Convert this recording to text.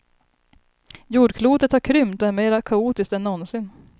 Jordklotet har krympt och är mer kaotiskt än någonsin.